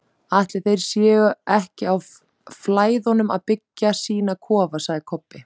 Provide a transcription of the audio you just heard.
Ætli þeir séu ekki á Flæðunum að byggja sína kofa, sagði Kobbi.